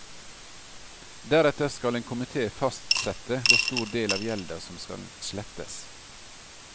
Deretter skal en komite fastsette hvor stor del av gjelda som skal slettes.